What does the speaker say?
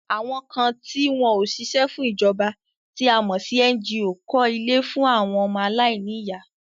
Àwọn kan ti wọn ò ṣíṣe fún ìjọba tí a mọ̀ sí NGO kọ́ ilé fún àwọn ọmọ aláìní ìyá